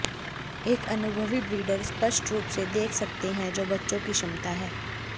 एक अनुभवी ब्रीडर स्पष्ट रूप से देख सकते हैं जो बच्चों की क्षमता है